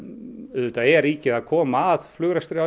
auðvitað er ríkið að koma að flugrekstri